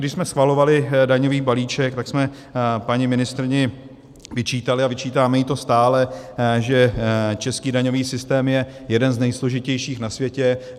Když jsme schvalovali daňový balíček, tak jsme paní ministryni vyčítali, a vyčítáme jí to stále, že český daňový systém je jeden z nejsložitějších na světě.